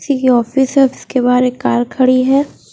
Office है उसके बाहर एक कार खड़ी है।